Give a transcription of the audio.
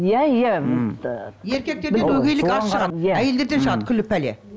иә иә еркектерден өгейлік аз шығады әйелдерден шығады күллі пәле